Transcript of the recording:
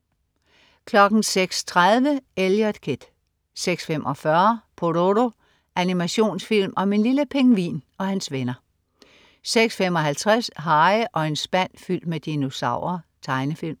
06.30 Eliot Kid 06.45 Pororo. Animationsfilm om en lille pingvin og hans venner 06.55 Harry og en spand fyldt med dinosaurer. Tegnefilm